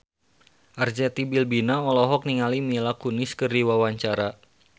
Arzetti Bilbina olohok ningali Mila Kunis keur diwawancara